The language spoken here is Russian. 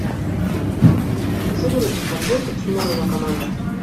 загрузи подборку тимур и его команда